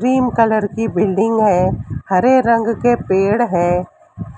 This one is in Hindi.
क्रीम कलर की बिल्डिंग है हरे रंग के पेड़ है